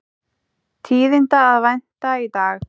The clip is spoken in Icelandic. Tíðinda að vænta í dag